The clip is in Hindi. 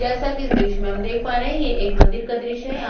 जैसा की इस द्र्श्य में हम देख पा रहे है ये एक मंदिर का द्र्श्य है यहाँ--